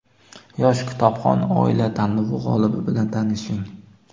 Yosh kitobxon oila tanlovi g‘olibi bilan tanishing:.